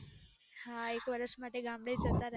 હા એક વર્ષ માટે ગામડે જતા રહયા હતા